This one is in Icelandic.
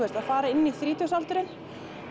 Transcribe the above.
fara inn í þrítugsaldurinn